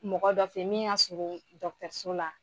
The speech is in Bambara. Mɔgɔ dɔ fe min y'a so la